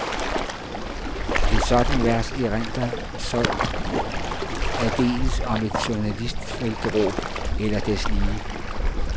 Et sådant vers erindrer så aldeles om et journalistfeltråb eller deslige.